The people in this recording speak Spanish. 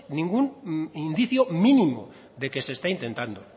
ningún indicio mínimo de que se está intentando